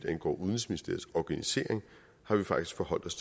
angår udenrigsministeriets organisering har vi faktisk forholdt os